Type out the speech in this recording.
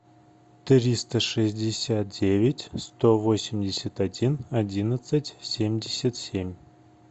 триста шестьдесят девять сто восемьдесят один одиннадцать семьдесят семь